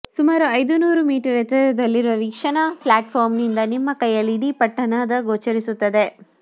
ಸುಮಾರು ಐದು ನೂರು ಮೀಟರ್ ಎತ್ತರದಲ್ಲಿರುವ ವೀಕ್ಷಣಾ ಪ್ಲಾಟ್ಫಾರ್ಮ್ನಿಂದ ನಿಮ್ಮ ಕೈಯಲ್ಲಿ ಇಡೀ ಪಟ್ಟಣದ ಗೋಚರಿಸುತ್ತದೆ